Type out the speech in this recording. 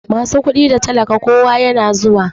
Masu kudi da talaka kowa yana zuwa.